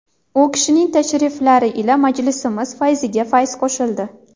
U kishining tashriflari ila majlisimiz fayziga fayz qo‘shildi.